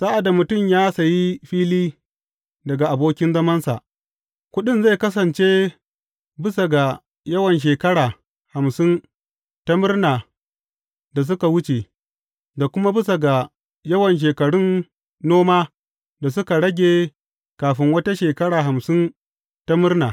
Sa’ad da mutum ya sayi fili daga abokin zamansa, kuɗin zai kasance bisa ga yawan shekara hamsin ta murna da suka wuce, da kuma bisa ga yawan shekarun noma da suka rage kafin wata shekara hamsin ta murna.